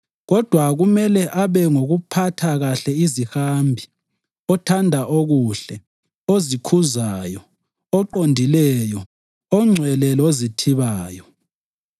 Kodwa kumele abe ngophatha kuhle izihambi, othanda okuhle, ozikhuzayo, oqondileyo, ongcwele lozithibayo.